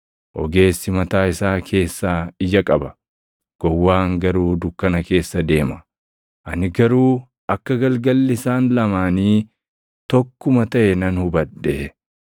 Ogeessi mataa isaa keessaa ija qaba; gowwaan garuu dukkana keessa deema; ani garuu akka galgalli isaan lamaanii tokkuma taʼe nan hubadhe.